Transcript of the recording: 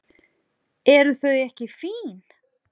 Eru þau ekki fín?